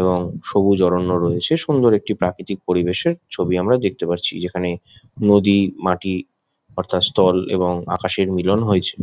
এবং সবুজ অরণ্য রয়েছে | সুন্দর একটি প্রাকৃতিক পরিবেশ ছবি আমরা দেখতে পাচ্ছি | যেখানে নদী মাটি অর্থাৎ স্থল এবং আকাশের মিলন হয়েছে।